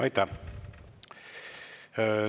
Aitäh!